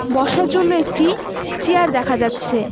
বসার জন্য একটি চিয়ার দেখা যাচ্ছে।